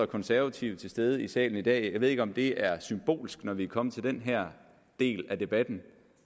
konservative til stede i salen i dag jeg ved ikke om det er symbolsk når vi kommer til den her del af debatten